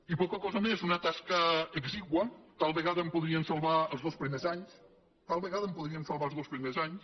i poca cosa més una tasca exigua tal vegada en podríem salvar els dos primers anys tal vegada en podríem salvar els dos primers anys